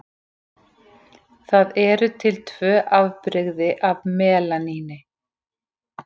Það eru til tvö afbrigði af melaníni.